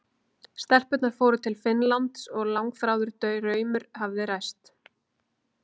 Hér eru úrslit og markaskorarar úr öllum leikjunum: